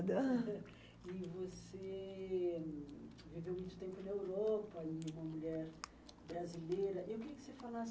E você viveu muito tempo na Europa, e uma mulher brasileira. Eu queria que você falasse